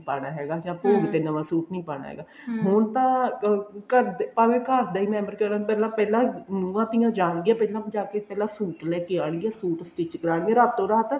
ਪਾਣਾ ਹੈਗਾ ਜਾਂ ਭੋਗ ਤੇ ਨਵਾਂ suit ਨੀ ਪਾਣਾ ਹੈਗਾ ਹੁਣ ਤਾਂ ਭਾਵੇਂ ਘਰ ਦਾ ਈ member ਪਹਿਲਾਂ ਪਹਿਲਾਂ ਨੂੰਹਾਂ ਧੀਆਂ ਜਾਨਗੀਆ ਪਹਿਲਾ ਜਾਕੇ ਪਹਿਲਾਂ suit ਲੈਕੇ ਆਣਗੀਆ suit stich ਕਰਾਨਗੀਆ ਰਾਤੋ ਰਾਤ